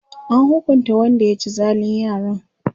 an hukunta Wanda ya ci zalin yaran?